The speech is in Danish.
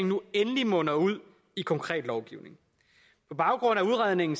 nu endelig munder ud i konkret lovgivning på baggrund af udredningen